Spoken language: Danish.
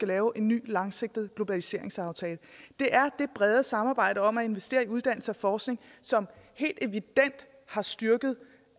laver en ny langsigtet globaliseringsaftale det er det brede samarbejde om at investere i uddannelse og forskning som helt evident har styrket